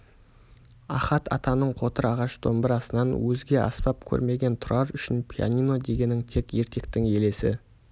ахат атаның қотыр ағаш домбырасынан өзге аспап көрмеген тұрар үшін пианино дегенің тек ертектің елесі